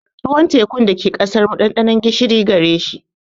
Ruwan tekun da ke ƙasar mu, ɗanɗanon gishiri gare shi.